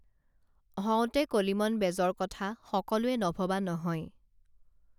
হওঁতে কলিমন বেজৰ কথা সকলোৱে নভৱা নহয়